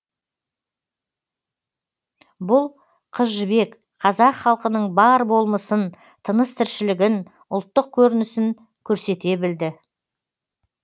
бұл қыз жібек қазақ халқының бар болмысын тыныс тіршілігін ұлттық көрінісін көрсете білды